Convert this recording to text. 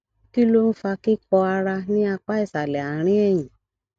kí ló ń fa kíkọ ara ní apá ìsàlẹ àárín ẹyìn